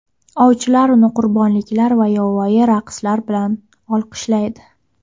Ovchilar uni qurbonliklar va yovvoyi raqslar bilan olqishlaydi.